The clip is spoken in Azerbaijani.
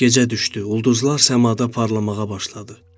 Gecə düşdü, ulduzlar səmada parlamağa başladı.